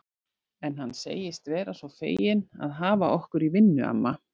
En hann segist vera svo feginn að hafa okkur í vinnu, amma